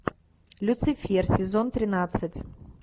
люцифер сезон тринадцать